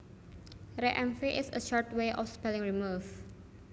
Rmv is a short way of spelling remove